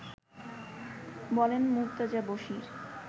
বলেন মুর্তজা বশীর